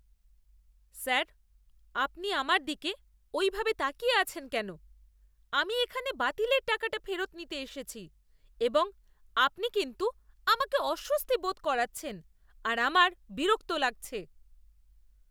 Sir, আপনি আমার দিকে ওইভাবে তাকিয়ে আছেন কেন? আমি এখানে বাতিলের টাকাটা ফেরত নিতে এসেছি এবং আপনি কিন্তু আমাকে অস্বস্তি বোধ করাচ্ছেন আর আমার বিরক্ত লাগছে।